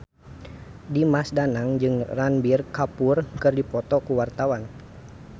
Dimas Danang jeung Ranbir Kapoor keur dipoto ku wartawan